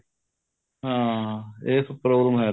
ਹਾਂ ਇਹ problem